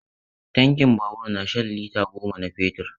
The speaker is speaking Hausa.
Tankin babur na shan lita goma na fetur.